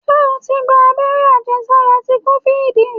Ṣé o ti gba agbẹ́rẹ́ àjẹ sára ti kofid?